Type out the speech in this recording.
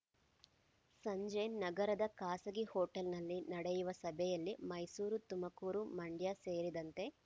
ಸಂಜೆ ನಗರದ ಖಾಸಗಿ ಹೊಟೇಲ್‌ನಲ್ಲಿ ನಡೆಯುವ ಸಭೆಯಲ್ಲಿ ಮೈಸೂರು ತುಮಕೂರು ಮಂಡ್ಯ ಸೇರಿದಂತೆ